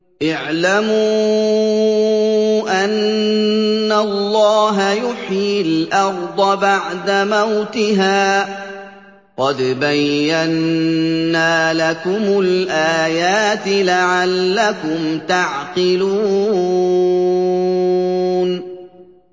اعْلَمُوا أَنَّ اللَّهَ يُحْيِي الْأَرْضَ بَعْدَ مَوْتِهَا ۚ قَدْ بَيَّنَّا لَكُمُ الْآيَاتِ لَعَلَّكُمْ تَعْقِلُونَ